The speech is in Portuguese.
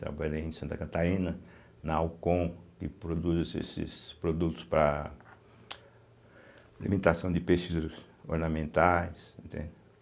Trabalhei em Santa Catarina, na Alcon, que produz esses esses produtos para alimentação de peixes ornamentais, entende.